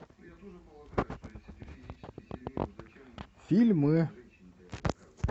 фильмы